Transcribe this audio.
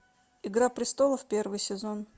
игра престолов первый сезон